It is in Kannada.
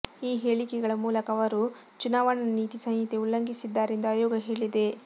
ಈ ಹೇಳಿಕೆಗಳ ಮೂಲಕ ಅವರು ಚುನಾವಣಾ ನೀತಿ ಸಂಹಿತೆ ಉಲ್ಲಂಘಿಸಿದ್ದಾರೆ ಎಂದು ಆಯೋಗ ಹೇಳಿದೆ